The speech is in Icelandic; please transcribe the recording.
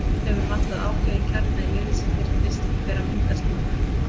Hefur vantað ákveðinn kjarna í liðið sem virðist vera að myndast núna.